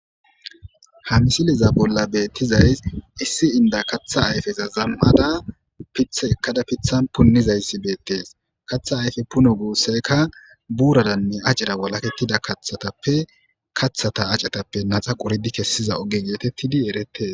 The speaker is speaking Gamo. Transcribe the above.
Ha misileza bolla betizaysi issi inda katha ayfeza zam'ada pithi ekada pithani punizayasi beetesi, kathe aype puno guisayka buuraranne acera walaketida kathatappe kathata acetappe qoridi naxa kesiza oge getetidi eretesi.